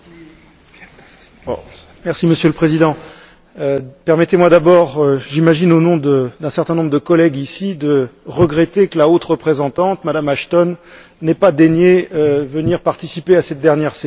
Monsieur le Président, permettez moi d'abord, j'imagine au nom d'un certain nombre de collègues, de regretter que la haute représentante, Mme Ashton, n'ait pas daigné venir participer à cette dernière session et au moins nous saluer.